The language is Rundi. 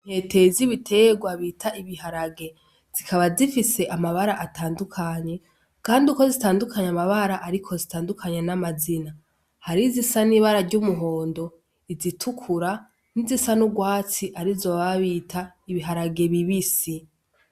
Intete z'ibiterwa bita ibiharage, zikaba zifise amabara atandukanye, kandi uko zitandukanye amabara ariko zitandukanye n'amazina. Hariho izisa n'ibara ry'umuhondo, izitukura n'izisa n'urwatsi arizo baba bita ibiharage bibisi.